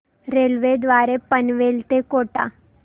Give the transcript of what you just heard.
railway द्वारे पनवेल ते कोटा